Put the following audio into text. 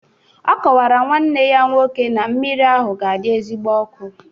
Ọ kọwara nwanne ya nwoke na mmiri ahụ ga-adị ezigbo ọkụ